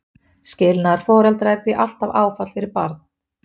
skilnaður foreldra er því alltaf áfall fyrir barn